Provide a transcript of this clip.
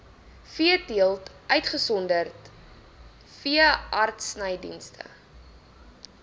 veeteelt uitgesonderd veeartsenydienste